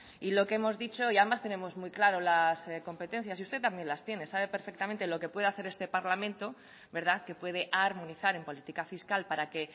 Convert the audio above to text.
y lo que hemos dicho y además tenemos muy claro las competencias y usted también las tiene sabe perfectamente lo que puede hacer este parlamento que puede armonizar en política fiscal para que